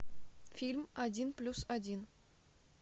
фильм один плюс один